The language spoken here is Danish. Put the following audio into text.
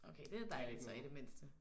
Okay det er dejligt så i det mindste